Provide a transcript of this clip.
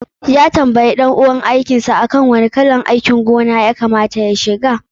Ya tambaye ɗan uwan aikin sa akan wani irin harkar noma ya kama ta ya shiga.